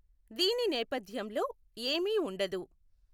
దీని నేపథ్యంలో ఏమీ ఉండదు.